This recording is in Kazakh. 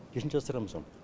несін жасырамыз оның